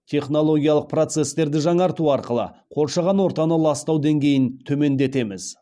технологиялық процестерді жаңарту арқылы қоршаған ортаны ластау деңгейін төмендетеміз